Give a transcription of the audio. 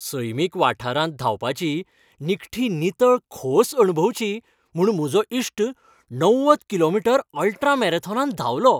सैमीक वाठारांत धांवपाची निखटी नितळ खोस अणभवची म्हूण म्हाजो इश्ट णव्वद किलोमीटर अल्ट्रा मॅरेथॉनांत धांवलो.